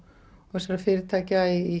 þessara fyrirtækja í